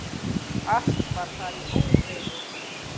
Allt var þar í óreiðu.